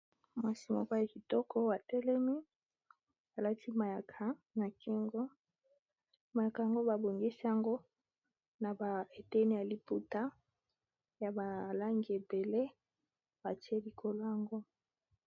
Mwasi moko ya kitoko atelemi, alati mayaka na kingo mayaka yango ba bongisi yango na ba eteni ya liputa ya ba langi ebele batie likolo ango.